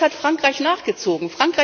Jetzt hat Frankreich nachgezogen.